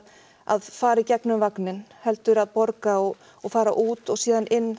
að fara í gegnum vagninn heldur að borga og og fara út og síðan inn